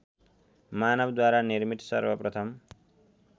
मानवद्वारा निर्मित सर्वप्रथम